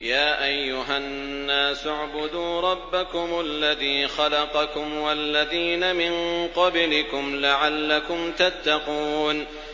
يَا أَيُّهَا النَّاسُ اعْبُدُوا رَبَّكُمُ الَّذِي خَلَقَكُمْ وَالَّذِينَ مِن قَبْلِكُمْ لَعَلَّكُمْ تَتَّقُونَ